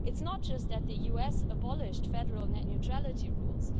It's not just that the US has abolished Federal net neutrality rules.